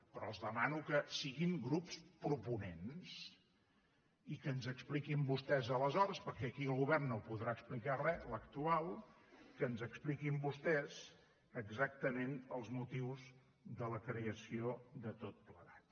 però el demano que siguin grups proponents i que ens expliquin vostès aleshores perquè aquí el govern no podrà explicar res l’actual que ens expliquin vostès exactament els motius de la creació de tot plegat